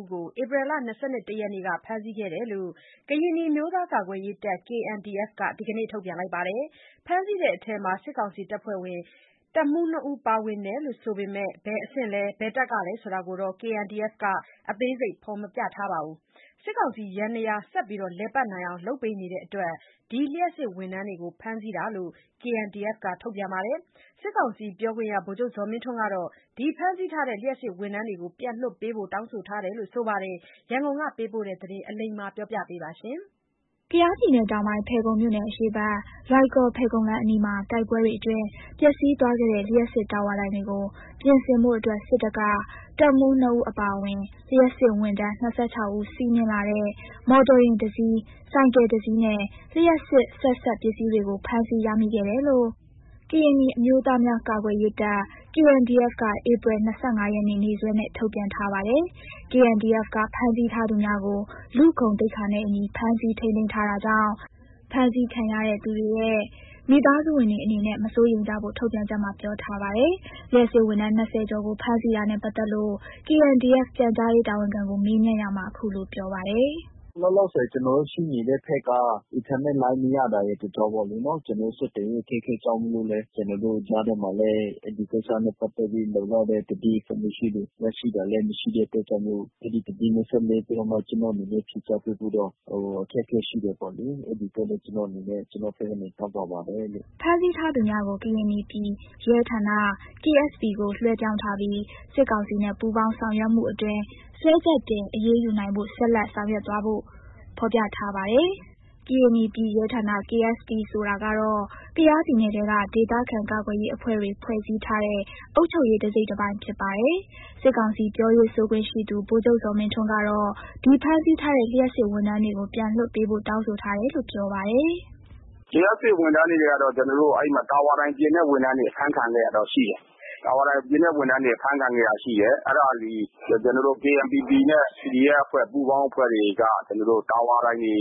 ဦးကို ဧပြီ ၂၁ ရက်နေ့က ဖမ်းဆီးခဲ့တယ်လို့ ကရင်နီအမျိုးသားများ ကာကွယ်ရေးတပ် KNDF က ဒီနေ့ ထုတ်ပြန်ပါတယ်။ ဖမ်းဆီးတဲ့အထဲ စစ်ကောင်စီအဖွဲ့ဝင် တပ်မှူး နှစ်ဦးပါဝင်တယ်လို့ ဆိုပေမယ့် ဘယ်အဆင့်လဲ ဘယ်တပ်ကလဲဆိုတာကို KNDF က အသေးစိတ်မဖော်ပြပါဘူး။ စစ်ကောင်စီ ယန္တရားဆက်လက် လည်ပတ်နေအောင် လုပ်ပေးနေတဲ့အတွက် လျှပ်စစ်ဝန်ထမ်းတွေကို ဖမ်းဆီးတာလို့ KNDF ထုတ်ပြန်ချက်မှာ ပြောထားပါတယ်။ စစ်ကောင်စီပြောခွင့်ရ ဗိုလ်ချုပ်ဇော်မင်းထွန်းကတော့ ဒီဖမ်းဆီးထားတဲ့ လျှပ်စစ်ဝန်ထမ်းတွေကို ပြန်လွှတ်ပေးဖို့ တောင်းဆိုထားတယ်လို့ ပြောပါတယ်။ ရန်ကုန်ကပေးပိုတဲ့သတင်းကို အလိမ္မာက တင်ပြပေးထားပါတယ်။ ကယားပြည်နယ်တောင်ပိုင်း ဖယ်ခုံမြို့နယ် အရှေ့ဘက် လွိုင်ကော်-ဖယ်ခုံလမ်းအနီးမှာ တိုက်ပွဲတွေအတွင်း ပျက်စီးသွားခဲ့တဲ့ လျှပ်စစ်တာဝါတိုင်တွေကို ပြင်ဆင်ဖို့ စစ်တပ်က တပ်မှူး ၂ ဦး အပါအဝင် လျှပ်စစ်ဝန်ထမ်း ၂၆ ဦး စီးနင်းလာတဲ့ မော်တော်ယာဉ်တစီး၊ ဆိုင်ကယ်တစီးနဲ့ လျှပ်စစ် ဆက်စပ်ပစ္စည်းတွေကို ဖမ်းဆီးရမိခဲ့တယ်လို့ ကရင်နီအမျိုးသားများကာကွယ်ရေးတပ် KNDF က ဧပြီ ၂၅ ရက်နေ့ နေ့စွဲနဲ့ ထုတ်ပြန်ထားပါတယ်။ KNDF က ဖမ်းဆီးထားသူများကို လူ့ဂုဏ်သိက္ခာနဲ့အညီ ဖမ်းဆီးထိန်းသိမ်းထားတာကြောင့် ဖမ်းဆီးခံရတဲ့သူတွေရဲ့ မိသားစုဝင်တွေအနေနဲ့ မစိုးရိမ်ကြဖို့ ထုတ်ပြန် ချက်မှာ ပြောထားပါတယ်။ လျှပ်စစ်ဝန်ထမ်း ၂၀ ကျော်ကို ဖမ်းဆီးတာနဲ့ပတ်သက်လို့ KNDF ပြန်ကြားရေးတာဝန်ခံကို မေးမြန်ရာမှာ အခုလို ပြောပါတယ်။ “လောလောဆယ် ကျနော်တို့ ရှိနေတဲ့ဘက်က အင်တာနက်လိုင်းမရတာရယ်၊ တကြောင်းပေါ့လေနော်။ ကျနော်တို့ ဆက်သွယ်မှုအခက်အခဲကြောင့်မို့လို့လည်း ကျနော်တို့ ကြားထဲမှာလည်း အဲ့ဒီကိစ္စနဲ့ ပတ်သက်ပြီး လုံလောက်တဲ့ သတင်းအချက်ရရှိတာလည်းမရှိတဲ့အတွက်ကြောင့်မို့ အဲ့ဒီသတင်းနဲ့ ဆက်နွယ်ပြီးတော့ ကျနော်တို့အနေနဲ့ ဖြေကြားပေးဖို့တော့ အခက်အခဲရှိတယ်ပေါ့လေ။ အဲ့ဒီအတွက်လည်း ကျနော်အနေနဲ့ ကျနော်ဘက်က တောင်းပန်ပါတယ်လို့။” ဖမ်းဆီးထားသူများကို ကရင်နီပြည်ရဲဌာန ကို လွဲှပြောင်းထားပြီး စစ်ကောင်စီနဲ့ ပူးပေါင်းဆောင်မှုအတွင် ဆွဲချက်တင်အရေးယူနိုင်ဖို့ ဆက်လက်ဆောင်ရွက်သွားလို့ ဖော်ပြထားပါတယ်။ ကရင်နီပြည်ရဲဌာန ဆိုတာကတော့ ကယားပြည်နယ်ထဲက ဒေသခံကာကွယ်ရေးအဖွဲ့တွေဖွဲ့စည်းထားတဲ့ အုပ်ချုပ်ရေး တစိတ်တပိုင်းဖြစ်ပါတယ်။ စစ်ကောင်စီပြောရေးဆိုခွင့်ရှိသူ ဗိုလ်ချုပ်ဇော်မင်းထွန်းကတော့ ဒီဖမ်းဆီးထားတဲ့ လျှပ်စစ်ဝန်ထမ်းတွေကို ပြန်လွှတ်ပေးဖို့ တောင်းဆိုထားတယ်လို့ ပြောပါတယ်။ “လျှပ်စစ်ဝန်ထမ်းတွေကတော့ ကျနော်တို့ အဲ့မှာ တာဝါတိုင်ပြင်တဲ့ ဝန်ထမ်းတွေ အဖမ်းခံခဲ့ရတာတော့ရှိတယ်။ တာဝါတိုင်ပြင်တဲ့ ဝန်ထမ်းတွေ အဖမ်းခံခဲ့ရတာရှိတယ်။ အဲ့ဒါကို ကျနော်တို့ KNPP နဲ့ PDF အဖွဲ့ ပူးပေါင်းအဖွဲ့တွေက ကျနော်တို့ တာဝါတိုင်တွေ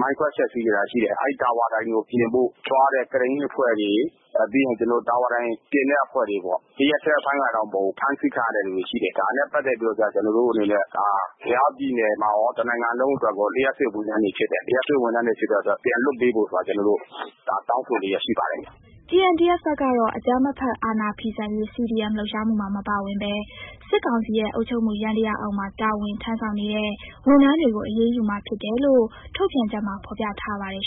မိုင်ခွဲဖျက်စီးခဲ့တာရှိတယ်။ အဲ့တာဝါတိုင်ကို ပြင်ဖို့သွားတဲ့ ကရိန်းအဖွဲ့တွေ ပြီးရင် ကျနော်တို့ တာဝါတိုင်ပြင်တဲ့အဖွဲ့တွေပေါ့၊ ဒီရက်ထဲအဖမ်းခံတော့မဟုတ်ဘူး၊ ဖမ်းဆီးခံရတဲ့ လူတွေ ရှိတယ်။ ဒါနဲ့ ပတ်သက်ပြီးတော့ကျ ကျနော်တို့ အနေနဲ့ က ကယားပြည်နယ်ရော တနိုင်ငံလုံးအတွက်ရော လျှပ်စစ်ဝန်ထမ်းတွေဖြစ်တယ်၊ လျှပ်စစ်ဝန်ထမ်းတွေ ဖြစ်တဲ့ အတွက် ပြန်လွှတ်ပေးဖို့ဆိုတာကို ကျနော်တို့ ဒါတောင်းဆိုလျှက်ရှိပါတယ်။” KNDF ဘက်ကတော့ အကြမ်းမဖက်အာဏာဖီဆန်ရေး CDM လှုပ်ရှားမှုမှာ မပါဝင်ဘဲ စစ်ကောင်စီရဲ့ အုပ်ချုပ်မှုယန္တရားအောက်မှာ တာဝန်ထမ်းဆောင်နေတဲ့ ဝန်ထမ်းတွေကို အရေးယူမှာဖြစ်လို့ ထုတ်ပြန်ချက်မှာ ဖော်ပြထားပါတယ်